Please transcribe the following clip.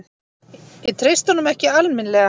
Ég treysti honum ekki alminlega.